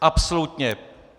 Absolutně...